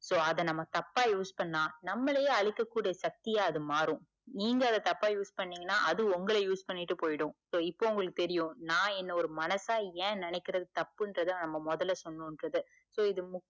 so அத நாம்ம தப்பா use பண்ணா நம்மளையே அழிக்க கூடிய சத்தியா அது மாறும் நீங்க அத தப்பா use பண்ணிங்கனா அது உங்கள use பண்ணிட்டு போய்டும் so இப்ப உங்களுக்கு தெரியும் நா என்ன ஒரு மனசா ஏன் நினைக்கிறது தப்புன்ரத நாம முதல்ல சொன்னோம்றது இப்ப இது